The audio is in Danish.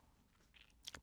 DR1